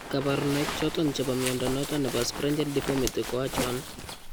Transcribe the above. Kabarunaik choton chebo mnyondo noton nebo Sprengel deformity ko achon ?